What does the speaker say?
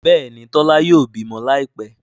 Béèni Tola yóò bímọ Láìpé.